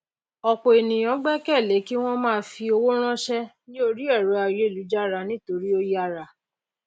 òpò ènìyàn gbékèlé kíwón máa fi owó rànsé ní orí èrò ayélujára nítorí ó yára